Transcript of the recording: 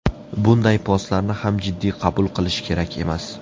Bunday postlarni ham jiddiy qabul qilish kerak emas.